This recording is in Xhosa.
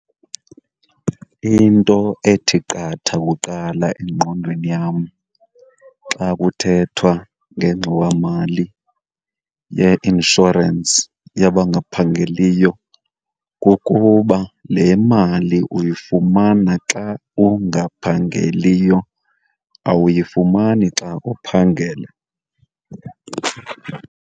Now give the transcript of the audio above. Into ethi qatha kuqala engqondweni yam xa kuthethwa ngengxowamali yeinshorensi yabangaphangeliyo kukuba le mali uyifumana xa ungaphangeliyo, awuyifumani xa uphangela.